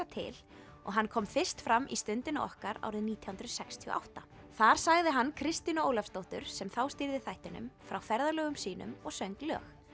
til og hann kom fyrst fram í Stundinni okkar árið nítján hundruð sextíu og átta þar sagði hann Kristínu Ólafsdóttur sem þá stýrði þættinum frá ferðalögum sínum og söng lög